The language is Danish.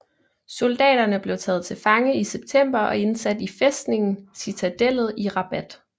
Soldaterne blev taget til fange i september og indsat i fæstningen Citadellet i Rabat